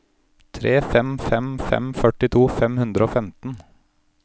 tre fem fem fem førtito fem hundre og femten